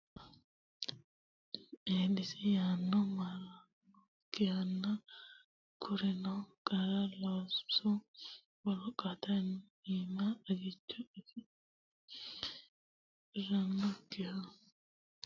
Eedisi ayeno maarannokkihanna Kurino qara loosu wolqaatinna ilama xagicho afi rinokkiha ikkasinni maatete riqibbannoreetinna gobbate noonke dagoomahonna gobbate qarra iillishanni yinannireeti.